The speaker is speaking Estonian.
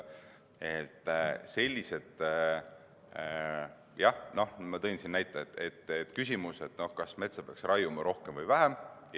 Ma tõin siin näiteks küsimuse, kas metsa peaks raiuma rohkem või vähem.